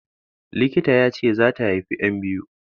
Likita yace zata haifi yan biyu